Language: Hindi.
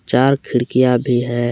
चार खिड़कियाँ भी हैं।